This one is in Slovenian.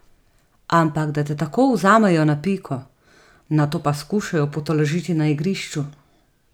Ampak da te tako vzamejo na piko, nato pa skušajo potolažiti na igrišču.